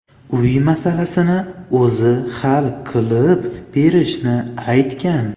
uy masalasini o‘zi hal qilib berishini aytgan.